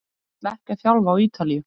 Ég ætla ekki að þjálfa á Ítalíu.